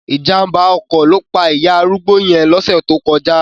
Ìjàmbá ọkọ̀ ló pa ìyá arúgbó yẹn lóṣẹ̀ tó kọjá.